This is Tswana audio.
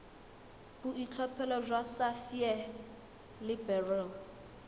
boitlhophelo jwa sapphire le beryl